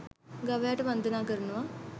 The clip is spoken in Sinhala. ගවයාට වන්දනා කරනවා